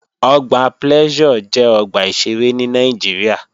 Ọgbà Pleasure jẹ́ ọgbà ìṣeré ní Nàìjíríà